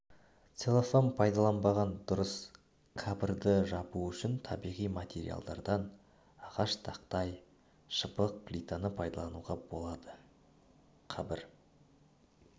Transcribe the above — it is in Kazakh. целлофан пайдаланбаған дұрыс қабірді жабу үшін табиғи материалдардан ағаш тақтай шыбық плитаны пайдалануға болады қабір